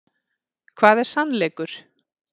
Hvað er sannleikur?